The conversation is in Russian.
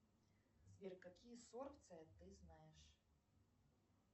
сбер какие сорбции ты знаешь